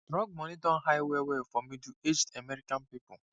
drug money don high wellwell for middleaged american people